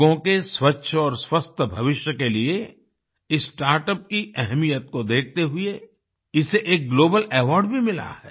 लोगों के स्वच्छ और स्वस्थ भविष्य के लिए इस स्टार्टअप की अहमियत को देखते हुए इसे एक ग्लोबल अवार्ड भी मिला है